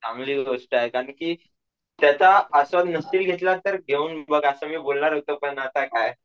चांगली गोष्ट आहे कारण कि त्याच आस्वाद नसशील घेतला तर घेऊन बघ असं मी बोलणार होतो पण आत काय.